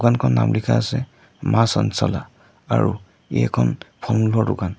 নাম লিখা আছে মা চঞ্চলা আৰু ই এখন ফলমূলৰ দোকান।